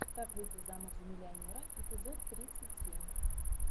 как выйти замуж за миллионера эпизод тридцать семь